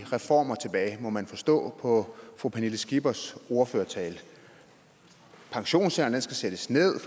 reformer tilbage må man forstå på fru pernille skippers ordførertale pensionsalderen skal sættes ned